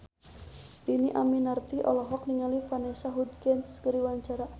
Dhini Aminarti olohok ningali Vanessa Hudgens keur diwawancara